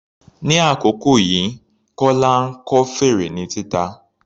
Ní àkókò yìí, Kọla ń kọ́ fèrè rẹ̀ ní títa.